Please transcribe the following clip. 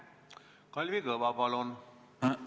Kalvi Kõva, palun!